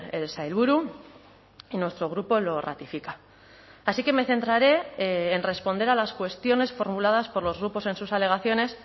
el sailburu y nuestro grupo lo ratifica así que me centraré en responder a las cuestiones formuladas por los grupos en sus alegaciones